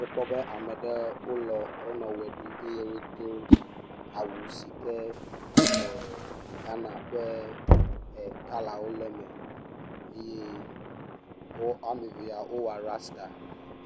Miekpɔ be ame aɖewo wonɔ eʋe ɖum eye wodo awu si ke Ghana ƒe e..kɔlawo le eme eye wo ame eve wowɔ rasta